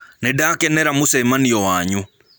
Nĩndakenera mũchemanĩo wanyũ.